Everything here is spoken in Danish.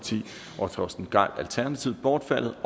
og torsten gejl bortfaldet